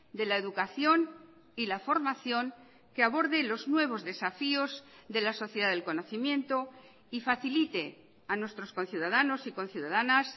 de la educación y la formación que aborde los nuevos desafíos de la sociedad del conocimiento y facilite a nuestros conciudadanos y conciudadanas